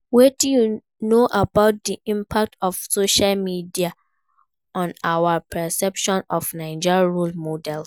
Wetin you know about di impact of social media on our perception of Naija role models?